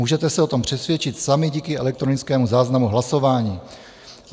Můžete se o tom přesvědčit sami díky elektronickému záznamu hlasování.